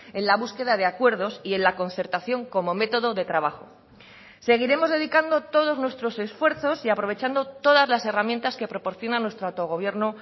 en la búsqueda de acuerdos y en la concertación como método de trabajo seguiremos dedicando todos nuestros esfuerzos y aprovechando todas las herramientas que proporciona nuestro autogobierno